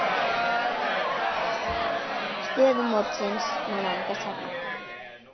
Stöðu mótsins má nálgast hérna.